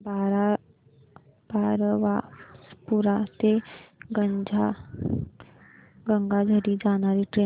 बारबासपुरा ते गंगाझरी जाणारी ट्रेन